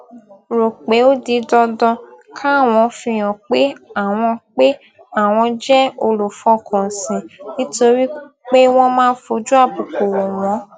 rò pé ó di dandan káwọn fihàn pé àwọn pé àwọn jé olùfọkànsìn nítorí pé wón máa ń fojú àbùkù wò wón